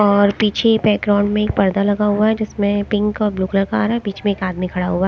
और पीछे बैकग्राउंड में एक पर्दा लगा हुआ है जिसमें पिंक और ब्ल्यू कलर का आ रहा हैं बीच में एक आदमी खड़ा हुआ--